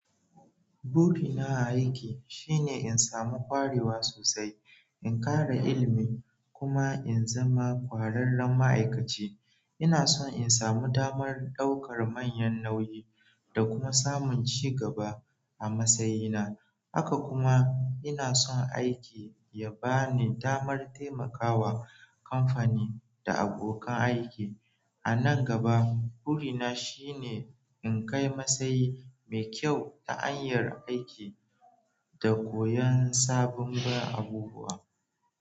Burina a aiki shine in samu ƙwarewa sosai, in ƙara ilmi kuma in zama ƙwararren ma'aikaci. Ina son in samu damar ɗaukar manyan nauyi da kuma samun ci gaba a matsayina. Haka kuma ina son aiki ya ba ni damar taimakawa kamfani da abokan aiki. A nan gaba, burina shine in kai matsayi mai kyau ta hanyar aiki da koyon sabobuwa abubuwa.